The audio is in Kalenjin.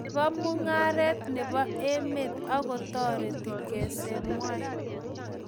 nebo mungaret nebo emet ago toret kesemgwai